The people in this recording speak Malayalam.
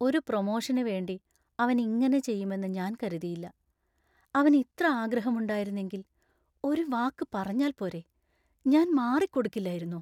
ഒരു പ്രൊമോഷന് വേണ്ടി അവൻ ഇങ്ങനെ ചെയ്യുമെന്ന് ഞാൻ കരുതിയില്ല; അവന് ഇത്ര ആഗ്രഹുമുണ്ടായിരുന്നെങ്കിൽ ഒരു വാക്ക് പറഞ്ഞാൽ പോരെ, ഞാൻ മാറിക്കൊടുക്കില്ലായിരുന്നോ?